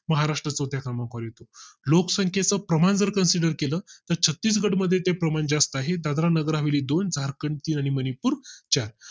महाराष्ट्रात तो त्यामुळे तो लोकसंख्ये चे प्रमाण जर consider केलं तर छत्तीसगढ मध्ये ते प्रमाण जास्त आहे. दादरा नगर हवेली दोन झारखंड ची आणि मणिपुर चार